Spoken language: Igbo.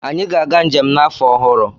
Anyị ga-aga njem n'afọ ọhụrụ.